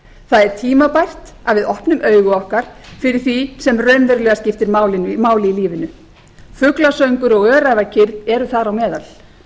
það er tímabært að við opnum augu okkar fyrir því sem raunverulega skiptir máli í lífinu fuglasöngur og öræfakyrrð eru þar á meðal